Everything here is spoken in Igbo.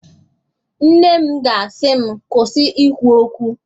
Nne m ga-asị m, kwụsị ikwu okwu